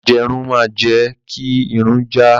Ajẹrun máa jẹ́ kí Irun jà.